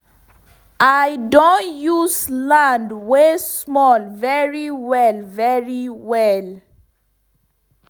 i don sabi use land wey small very well very well